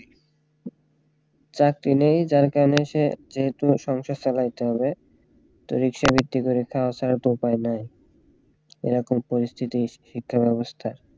চাকরি নেই যার কারণে সে যেহেতু সংসার চালাইতে হবে তো রিক্সার ভিত্তি করে খাওয়া ছাড়া তো আর উপায় নাই এরকম পরিস্থিতির শিক্ষা ব্যবস্থা